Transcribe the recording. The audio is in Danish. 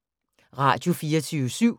Radio24syv